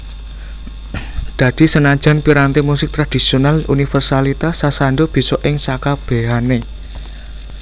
Dadi senajan piranti musik tradhisional universalitas sasando bisa ing sakabehané